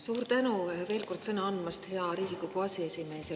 Suur tänu veel kord sõna andmast, hea Riigikogu aseesimees!